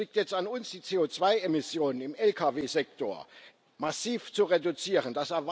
Es liegt jetzt an uns, die CO2 Emissionen im Lkw Sektor massiv zu reduzieren.